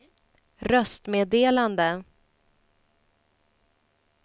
röstmeddelande